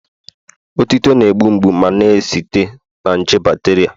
Otuto na-egbu mgbu ma na-esite na nje bacteria